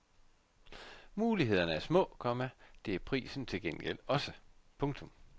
Mulighederne er små, komma det er prisen til gengæld også. punktum